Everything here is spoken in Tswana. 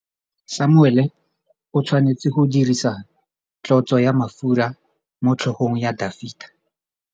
Samuele o tshwanetse go dirisa tlotsô ya mafura motlhôgong ya Dafita.